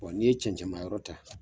Bon n'i ye cɛn cɛnman yɔrɔ ta